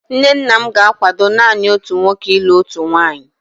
Nne nna m ga-akwado naanị otu nwoke ilụ otu nwaanyị.